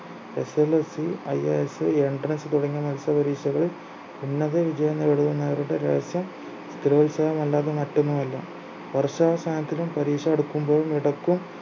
SSLCIASEntrance തുടങ്ങിയ മത്സരപരീക്ഷകളിൽ ഉന്നത വിജയം നേടിയവന്മാരുടെ രഹസ്യം സ്ഥിരോത്സാഹം അല്ലാതെ മറ്റൊന്നുമല്ല വർഷാവസാനത്തിലും പരീക്ഷ അടുക്കുമ്പോഴും ഇടക്കും